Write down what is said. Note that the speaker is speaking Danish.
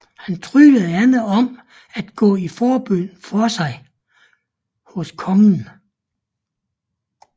Han tryglede Anne om at gå i forbøn for sig hos kongen